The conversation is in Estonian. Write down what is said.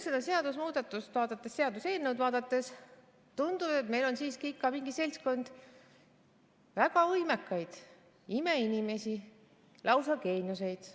Seda seaduseelnõu vaadates tundub, et meil on siiski mingi seltskond väga võimekaid imeinimesi, lausa geeniusi.